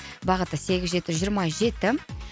бағыты сегіз жеті жиырма жеті